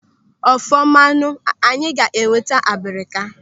Ọfumanụ, anyị ga enweta abrika.